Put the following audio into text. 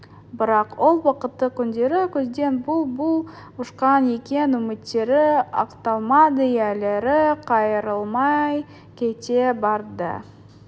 бірақ ол бақытты күндері көзден бұл бұл ұшқан екен үміттері ақталмады иелері қайырылмай кете барды